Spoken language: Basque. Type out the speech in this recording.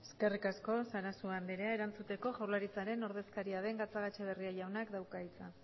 eskerrik asko sarasua anderea erantzuteko jaurlaritzaren ordezkaria den gatzagaetxeberria jaunak dauka hitza